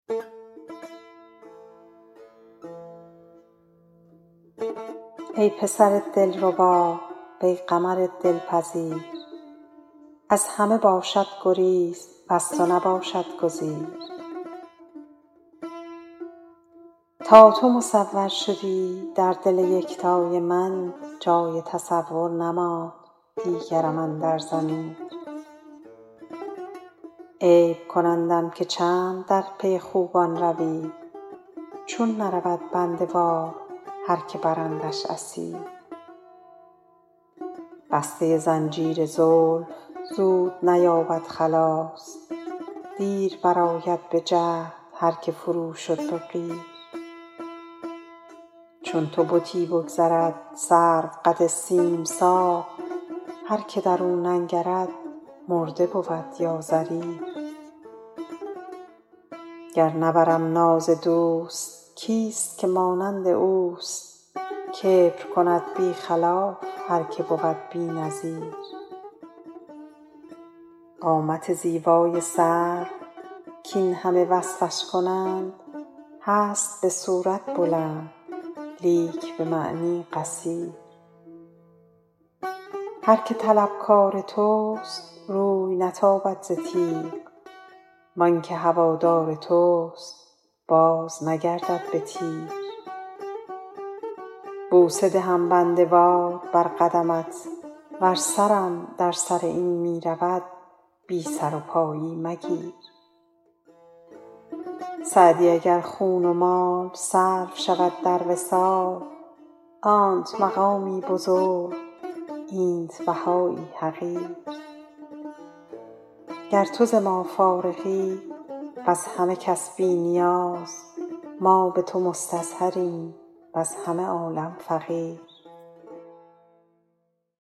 ای پسر دلربا وی قمر دلپذیر از همه باشد گریز وز تو نباشد گزیر تا تو مصور شدی در دل یکتای من جای تصور نماند دیگرم اندر ضمیر عیب کنندم که چند در پی خوبان روی چون نرود بنده وار هر که برندش اسیر بسته زنجیر زلف زود نیابد خلاص دیر برآید به جهد هر که فرو شد به قیر چون تو بتی بگذرد سروقد سیم ساق هر که در او ننگرد مرده بود یا ضریر گر نبرم ناز دوست کیست که مانند اوست کبر کند بی خلاف هر که بود بی نظیر قامت زیبای سرو کاین همه وصفش کنند هست به صورت بلند لیک به معنی قصیر هر که طلبکار توست روی نتابد ز تیغ وان که هوادار توست بازنگردد به تیر بوسه دهم بنده وار بر قدمت ور سرم در سر این می رود بی سر و پایی مگیر سعدی اگر خون و مال صرف شود در وصال آنت مقامی بزرگ اینت بهایی حقیر گر تو ز ما فارغی وز همه کس بی نیاز ما به تو مستظهریم وز همه عالم فقیر